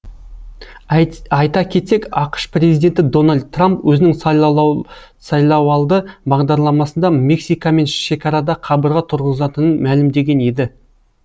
айта кетсек ақш президенті дональд трамп өзінің сайлауалды бағдарламасында мексикамен шекарада қабырға тұрғызатынын мәлімдеген еді